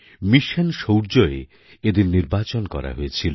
mission শৌর্যয় এদের নির্বাচন করা হয়েছিল